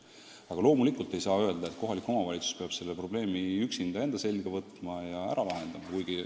Aga loomulikult ei saa öelda, et kohalik omavalitsus peab selle probleemi üksinda enda kanda võtma ja ära lahendama.